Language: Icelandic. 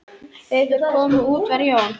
Þegar þeir komu út var Jón